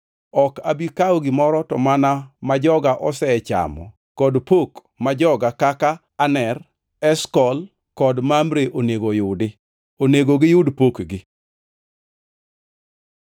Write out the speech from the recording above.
Ok abi kawo gimoro to mana ma joga osechamo kod pok ma joga kaka Aner, Eshkol kod Mamre onego oyudi. Onego giyud pokgi.”